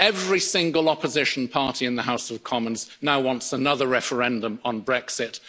Every single opposition party in the House of Commons now wants another referendum on Brexit.